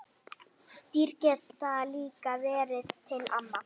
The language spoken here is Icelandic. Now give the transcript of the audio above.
Dýr geta líka verið til ama